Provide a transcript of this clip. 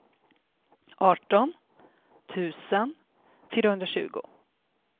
arton tusen fyrahundratjugo